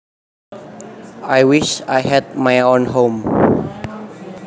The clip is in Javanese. I wish I had my own home